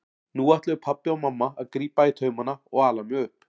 Nú ætluðu pabbi og mamma að grípa í taumana og ala mig upp.